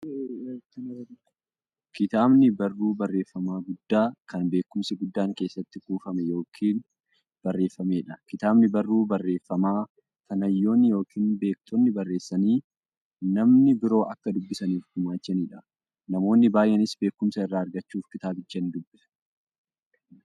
Kitaabni barruu barreeffamaa guddaa, kan beekumsi guddaan keessatti kuufame yookiin barreefameedha. Kitaabni barruu barreeffamaa, kan hayyoonni yookiin beektonni barreessanii, namni biroo akka dubbisaniif gumaachaniidha. Namoonni baay'eenis beekumsa irraa argachuuf kitaabicha nidubbisu.